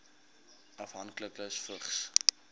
afhanklikes vigs